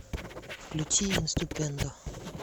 включи инступендо